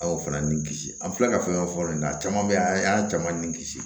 An y'o fana ni kisi an filɛ ka fɛn dɔ fɔ fɔlɔ a caman bɛ yan an y'an caman ni kisi